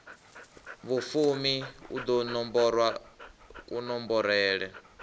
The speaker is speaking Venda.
vhufumi u ḓo nomborwa kunomborele